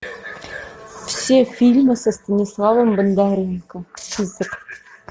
все фильмы со станиславом бондаренко список